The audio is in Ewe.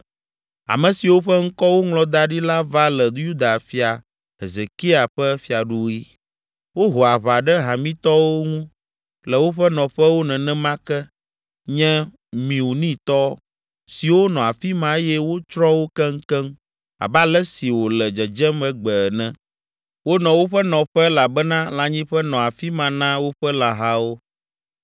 Ame siwo ƒe ŋkɔ woŋlɔ da ɖi la va le Yuda Fia Hezekia ƒe fiaɖuɣi. Woho aʋa ɖe Hamitɔwo ŋu le woƒe nɔƒewo nenema ke nye Meunitɔ siwo nɔ afi ma eye wotsrɔ̃ wo keŋkeŋ abe ale si wòle dzedzem egbe ene. Wonɔ woƒe nɔƒe elabena lãnyiƒe nɔ afi ma na woƒe lãhawo.